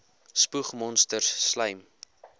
spoeg monsters slym